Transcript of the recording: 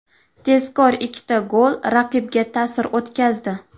Tezkor ikkita gol raqibga ta’sir o‘tkazdi.